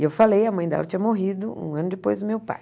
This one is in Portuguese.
E eu falei, a mãe dela tinha morrido um ano depois do meu pai.